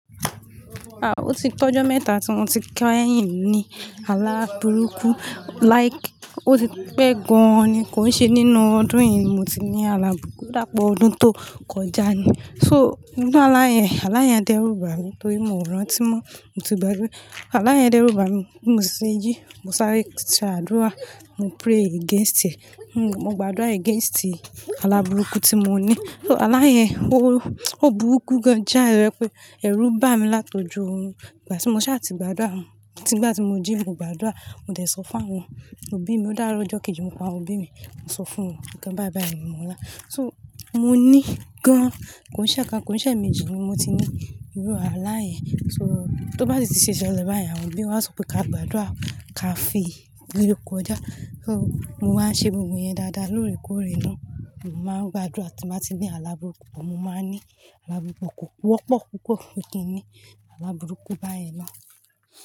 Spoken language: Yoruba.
O ti t'ọjọ́ mẹ́ta tí mo ti kẹ́yìn ní ala burúkú. Like, ó ti pẹ́ gan-an ni kó ṣe nínú ọdún yìí ni mo ti ní ala burúkú, o dàá pe ọdún tó kọjá ni. So, inú alá yẹn, alá yẹn dẹ́rùbà mi torí mò ń rántí mọ́, mo ti gbagbe. Alá yẹn dẹ́rùbà mi, bimo sì se jí, mo sáré ṣe àdúrà, mo pray against ẹ̀. Mo gba àdúrà against ala burúkú tí mo ní. So alá yẹn, ó, ó burúkú gan-an jái tojẹ pé, ẹ̀ rú bà mi látọjú òrun. Ìgbà tí mo ṣá ti gbàdúrà, tígbà tí mo jí mo gba àdúrà, mo dẹ̀ sọ fún àwọn òbí mi. Ó dára lọ́jọ́ kejì mo p'awon òbí mi, mo sọ fún won nǹkan báí báí mi mọ̀ lá. So, mo ní gan-an, kòn ṣẹ́ kan, kòn ṣẹ́ méjì ni mo ti ní irú alá yẹn. So, tó bá si ti ṣe ṣẹlẹ̀ báyen, àwọn òbí wa sọ pé ka gbàdúrà, ká fi re kọjá. So, mo wá ṣe gbogbo ìyẹn dáadáa lóòrèkóòrè ná. Mo máa ń gbàdúrà tí màá ti ní ala burúkú pọ̀, mo máa ní ala burúkú kò kú ọ́pọ̀ púpọ̀, ó kì í ní ala burúkú báyìí ná.